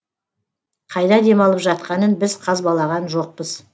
қайда демалып жатқанын біз қазбалаған жоқпыз